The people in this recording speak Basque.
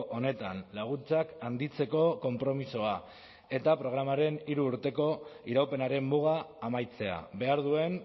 honetan laguntzak handitzeko konpromisoa eta programaren hiru urteko iraupenaren muga amaitzea behar duen